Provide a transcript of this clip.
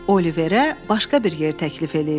Oliverə başqa bir yer təklif eləyirlər.